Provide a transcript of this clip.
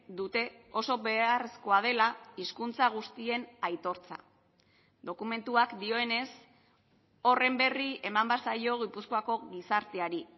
dute oso beharrezkoa dela hizkuntza guztien aitortza dokumentuak dioenez horren berri eman behar zaio gipuzkoako gizarteari